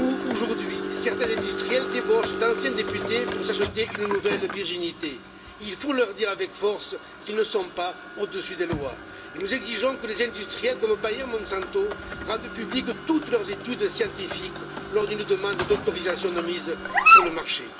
Aujourd'hui, certains industriels débauchent d'anciens députés pour s'acheter une nouvelle virginité. Il faut leur dire avec force qu'ils ne sont pas au dessus des lois, et nous exigeons que les industriels comme Bayer et Monsanto rendent publiques toutes leurs études scientifiques lors d'une demande d'autorisation de mise sur le marché.